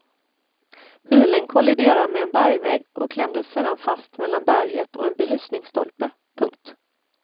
Bilen kolliderade med en bergvägg och klämdes sedan fast mellan berget och en belysningsstolpe. punkt